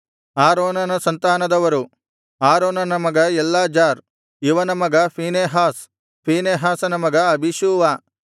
ಆರೋನನ ಸಂತಾನದವರು ಆರೋನನ ಮಗ ಎಲ್ಲಾಜಾರ್ ಇವನ ಮಗ ಫೀನೆಹಾಸ್ ಫೀನೆಹಾಸನ ಮಗ ಅಬೀಷೂವ